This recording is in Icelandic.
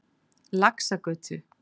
Laxagötu